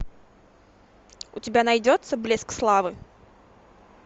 у тебя найдется блеск славы